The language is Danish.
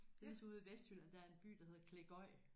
Det ligesom ude i Vestjylland der er en by der hedder Klegod